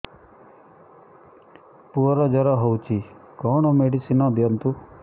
ପୁଅର ଜର ହଉଛି କଣ ମେଡିସିନ ଦିଅନ୍ତୁ